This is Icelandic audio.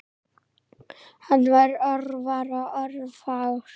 Hann var orðvar og orðfár.